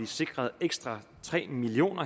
sikret ekstra tre million